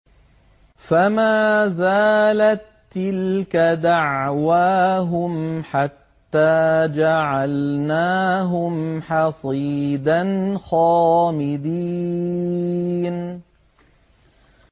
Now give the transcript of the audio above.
فَمَا زَالَت تِّلْكَ دَعْوَاهُمْ حَتَّىٰ جَعَلْنَاهُمْ حَصِيدًا خَامِدِينَ